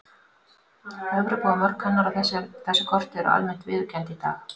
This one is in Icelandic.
Evrópa og mörk hennar á þessu korti eru almennt viðurkennd í dag.